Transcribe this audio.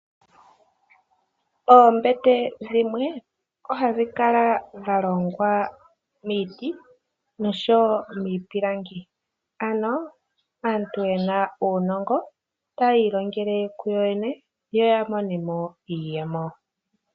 Oombete dhimwe ohadhi kala dha longwa miiti nomiipilangi aantu yena uunongo tayi ilongele kuyoyene yo ya monemo iiyemo.